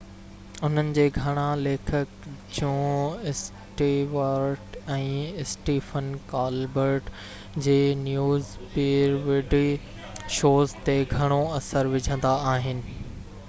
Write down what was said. انهن جي گهڻا ليکڪ جون اسٽيوارٽ ۽ اسٽيفن ڪالبرٽ جي نيوز پيروڊي شوز تي گهڻو اثر وجهندا آهن